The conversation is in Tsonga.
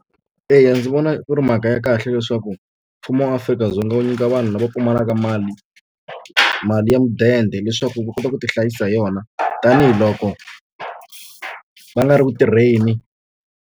Eya ndzi vona ku ri mhaka ya kahle leswaku mfumo wa Afrika-Dzonga wu nyika vanhu lava pfumalaka mali mali ya mudende leswaku va kota ku ti hlayisa hi yona tanihiloko va nga ri ku tirheni.